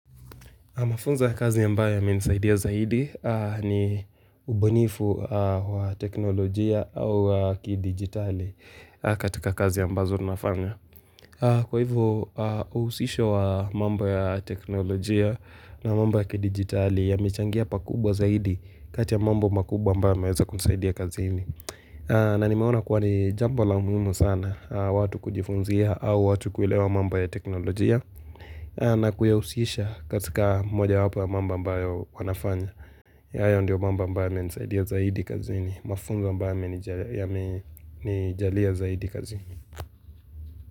Mafunza kazi ambayo yamenisaidia aa zaidi ni ubunifu wa teknolojia au ki-digitali katika kazi ambazo tunafanya. Kwa hivyo, uhusisho wa mambo ya teknolojia na mambo ya kidijitali yamechangia pakubwa zaidi kati ya mambo makubwa ambayo yameweza kunisaidia kazini. Na nimeona kuwa ni jambo la muhimu sana, watu kujifunzia au watu kuelewa mambo ya teknolojia na kuyahusisha katika mojawapo ya mambo ambayo wanafanya ya ayo ndiyo mamba ambayo nisaidia zaidi kazini mafunzo ambayo yamenijalia zaidi kazi ni.